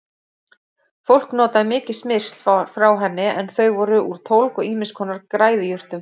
Fólk notaði mikið smyrsl frá henni en þau voru úr tólg og ýmiss konar græðijurtum.